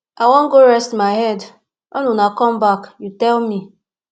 i wan go rest my head when una come back you tell me